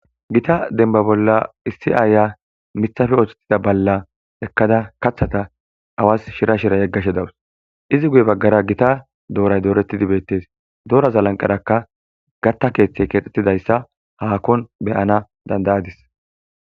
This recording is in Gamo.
gita denba bolla issi aaya mithafe oohthettida balla ekkada kathata awas shira shira yeggashe dawus izi guye baggara gita dooray doorettidi beettes doraza lanqerakka gatta keeththey keexxettidayssa haakon beyana dandayadis